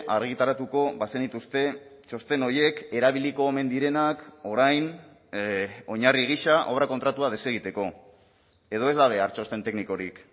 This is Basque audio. argitaratuko bazenituzte txosten horiek erabiliko omen direnak orain oinarri gisa obra kontratua desegiteko edo ez da behar txosten teknikorik